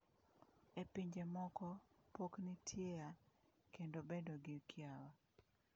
E pinje moko pok nitiea kendo bedo gi kiawa.